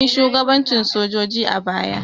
Anyi shugabancin sojoji a baya.